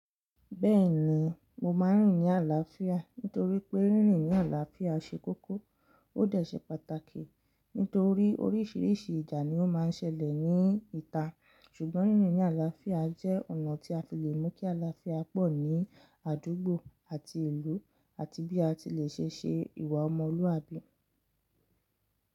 Bẹ́ẹ̀ni, mo máa ń rìnrìn àlàáfíà nítorí pé rìnrìn àlàáfíà ṣe kókó ó de ṣe pàtàkì nítorí oríṣiríṣi ìjà ni ó máa ń ṣẹlẹ̀ ní ìta. Ṣùgbọ́n rìnrìn ni àlàáfíà jẹ́ ọ̀nà tí a fi le mú kí àlàáfíà pọ̀ ní àdúgbò àti ìlú àti bí a ti le ṣe ṣe ìwà ọmọlúwàbí.